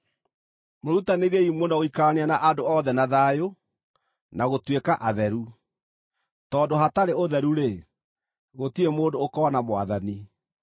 Mwĩrutanĩriei mũno gũikarania na andũ othe na thayũ, na gũtuĩka atheru; tondũ hatarĩ ũtheru-rĩ, gũtirĩ mũndũ ũkoona Mwathani.